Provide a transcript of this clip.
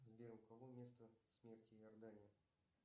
сбер у кого место смерти иордания